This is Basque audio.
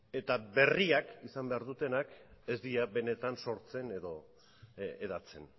eta berriak izan behar dutenak ez dira benetan sortzen edo hedatzen